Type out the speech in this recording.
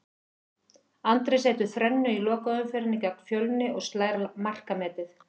Andri setur þrennu í lokaumferðinni gegn Fjölni og slær markametið.